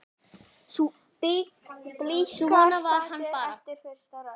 Blikar saddir eftir fyrsta róður?